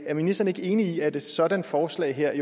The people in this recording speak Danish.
er ministeren ikke enig i at et sådan forslag her